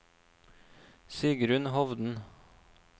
Sigrunn Hovden